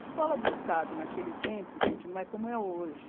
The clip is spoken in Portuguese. Escola do Estado naquele tempo, gente, não é como é hoje.